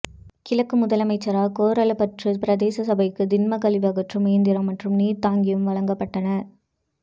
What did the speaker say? கிழக்கு முதலமைச்சரால் கோரளைப்பற்று பிரதேச சபைக்கு திண்மக்கழிவகற்றும் இயந்திரம் மற்றும் நீர்த் தாங்கியும் வழங்கப்பட்டன